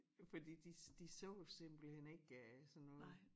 Fordi de de så simpelthen ikke øh sådan noget